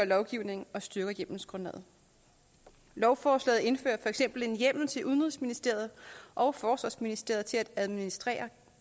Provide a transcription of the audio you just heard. lovgivningen og styrker hjemmelsgrundlaget lovforslaget indfører for eksempel en hjemmel til udenrigsministeriet og forsvarsministeriet til at administrere